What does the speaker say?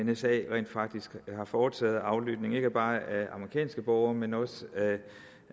nsa rent faktisk har foretaget med aflytning ikke bare af amerikanske borgere men også